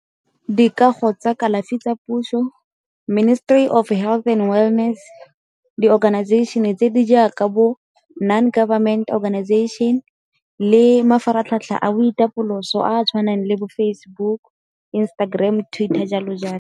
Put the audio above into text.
Dikago tsa kalafi tsa puso, ministry of health and wellness, di-organization-e tse di jaaka bo non-government organization le mafaratlhatlha a boitapoloso a a tshwaneng le bo Facebook, Instagram, Twitter, jalo jalo.